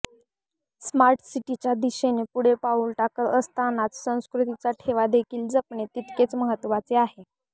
smart city च्या दिशेने पुढे पाऊल टाकत असतानाच संस्कृतीचा ठेवा देखील जपणे तितकेच महत्वाचे आहे